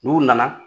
N'u nana